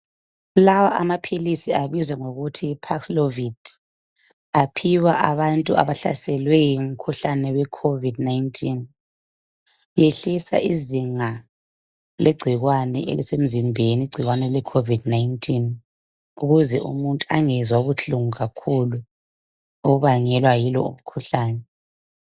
Lawa amaphilisi abizwa ngokuthi Yi parklovin aphiwa abantu abahlaselwe ngumkhuhlane we COVID-19 ehlisa izinga legcikwane elisemzimbeni. Igcikwane le COVID-19 ukuze umuntu angezwa ubuhlungu kakhulu obubangelwa yilomkhuhlane.